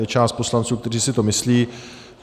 Je část poslanců, kteří si to myslí.